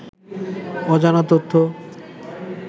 অজানা তথ্য